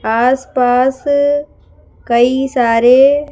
आसपास कई सारे--